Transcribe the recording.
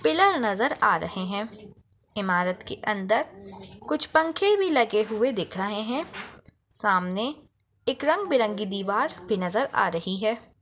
Pillar नज़र आ रहे हैं ईमारत के अंदर कुछ पंखे भी लगे हुए दिख रहे हैं सामने एक रंग-बिरंगी दीवार भी नज़र आ रही है।